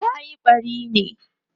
tayi ɓari ne?